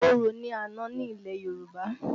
Orò ni àna ní ilẹ̀ Yorùbá